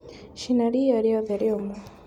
Cina ria riothe rĩũmũ..